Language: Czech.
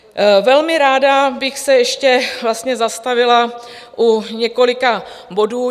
Velmi ráda bych se ještě zastavila u několika bodů.